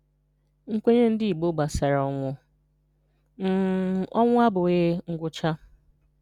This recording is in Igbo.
Nkwenye Ndụ̀ Ìgbò gbasara Ọnwụ̀ – um Ọnwụ̀ abụghị́ ngwụ́cha